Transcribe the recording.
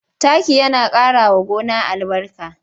Taki yana ƙarawa gona albarka.